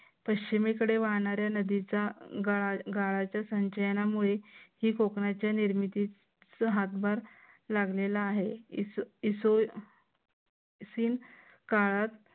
पश्चिमेकडे वाहणाऱ्या नदीचा गाळाच्या संचयनामुळे ही कोकणच्या निर्मितीस हातभार लागलेला आहे काळात